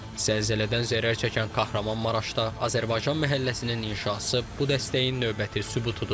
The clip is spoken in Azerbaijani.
Zəlzələdən zərər çəkən Kahramanmaraşda Azərbaycan məhəlləsinin inşası bu dəstəyin növbəti sübutudur.